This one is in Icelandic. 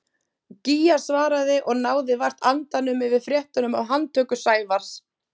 Gígja svaraði og náði vart andanum yfir fréttunum af handtöku Sævars.